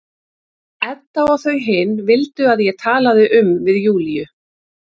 Edda og þau hin vildu að ég talaði um við Júlíu.